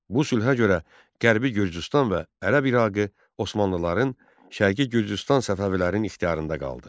Bu sülhə görə qərbi Gürcüstan və ərəb İraqı Osmanlıların, şərqi Gürcüstan Səfəvilərin ixtiyarında qaldı.